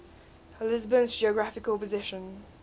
lisbon's geographical position